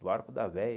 Do arco da véia.